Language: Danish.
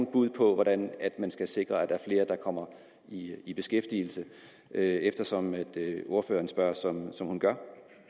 bud på hvordan man skal sikre at der er flere der kommer i i beskæftigelse eftersom ordføreren spørger som hun gør